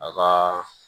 A ka